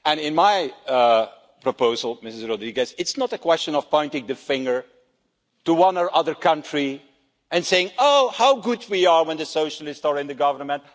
In my proposal, Mrs Rodrigues, it's not a question of pointing the finger at one or other country and saying Oh how good we are when the socialists are in the government